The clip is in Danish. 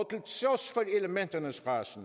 så